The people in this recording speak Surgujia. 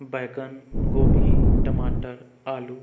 बैंगन गोभी टमाटर आलू--